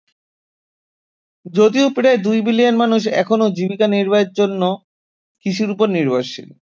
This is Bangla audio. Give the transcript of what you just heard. যদিও প্রায় দুই বিলিয়ন মানুষ এখনো জীবিকা নির্বাহের জন্য কৃষির উপর নির্ভরশীল